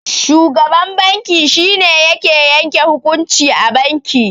Shugaban banki shine yake yanke hukunci a banki.